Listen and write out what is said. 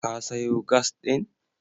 Ka sayo gas ɗin?